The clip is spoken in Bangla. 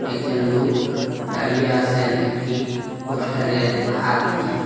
দুজন লোক দাঁড়িয়ে আছেন একটি পোস্টারে হাত দিয়ে।